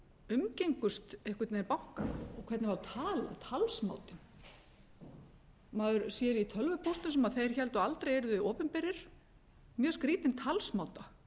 umgengust einhvern veginn bankana og hvernig var talað talsmátinn maður sér í tölvupóstum sem þeir héldu aldrei að yrðu opinberir mjög skrýtinn talsmáta